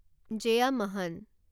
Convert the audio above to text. Jeyamohan